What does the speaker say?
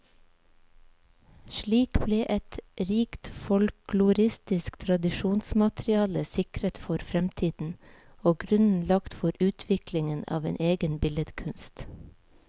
Slik ble et rikt folkloristisk tradisjonsmateriale sikret for fremtiden, og grunnen lagt for utviklingen av en egen billedkunst.